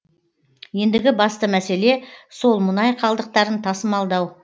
ендігі басты мәселе сол мұнай қалдықтарын тасымалдау